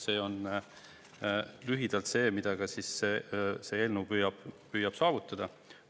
See on lühidalt see, mida see eelnõu püüab saavutada.